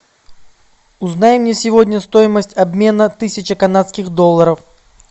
узнай мне сегодня стоимость обмена тысячи канадских долларов